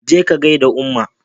je ka gaida umma!